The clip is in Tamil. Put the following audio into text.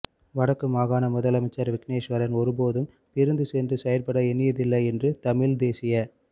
வடக்கு மாகாண முதலமைச்சர் விக்னேஸ்வரன் ஒருபோதும் பிரிந்து சென்று செயற்பட எண்ணியதில்லை என்று தமிழ்த் தேசியக்